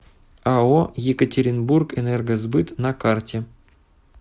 ао екатеринбургэнергосбыт на карте